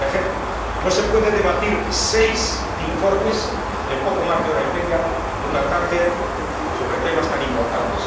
Un ejemplo no se pueden debatir seis informes en poco más de hora y media, en una tarde, sobre temas tan importantes.